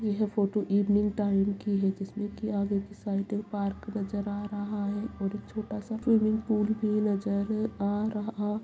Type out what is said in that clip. यह photo evening time की हैं जिसमे की आगे की साइड पार्क नज़र आ रहा हैं और एक छोटा-सा स्विमिंग पूल भी नजर आ रहा --